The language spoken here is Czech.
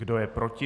Kdo je proti?